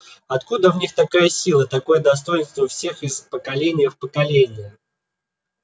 откуда в них такая сила такое достоинство у всех из поколения в поколение